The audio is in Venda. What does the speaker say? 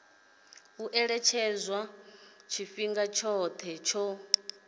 u ṅetshedzwa tshifhinga tshoṱhe tsho